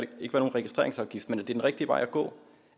nogen registreringsafgift men er det den rigtige vej at gå